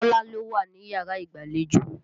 Kọ́lá ló wá níyàrá ìgbàlejò.